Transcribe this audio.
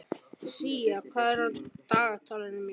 Sía, hvað er á dagatalinu mínu í dag?